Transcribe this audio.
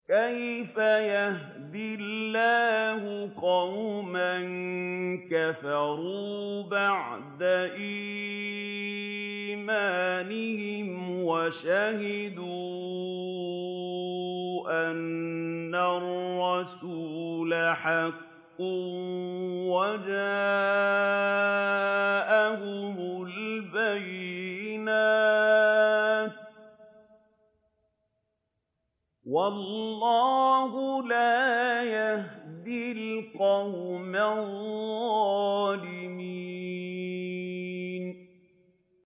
كَيْفَ يَهْدِي اللَّهُ قَوْمًا كَفَرُوا بَعْدَ إِيمَانِهِمْ وَشَهِدُوا أَنَّ الرَّسُولَ حَقٌّ وَجَاءَهُمُ الْبَيِّنَاتُ ۚ وَاللَّهُ لَا يَهْدِي الْقَوْمَ الظَّالِمِينَ